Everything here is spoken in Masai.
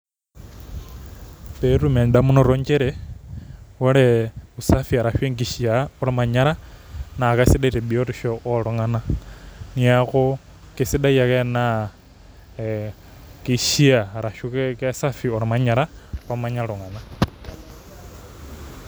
Petum endamunoto nchere ore usafi ashu enkishaa ormanyara na kesidai tebiotisho oltunganak neaku kesidai ake enaa keishaa ashu kesafi ormanyara omanya ltunganak.